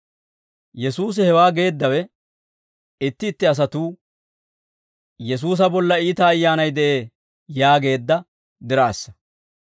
Yesuusi hewaa geeddawe, itti itti asatuu, «Yesuusa bolla iita ayyaanay de'ee» yaageedda diraassa.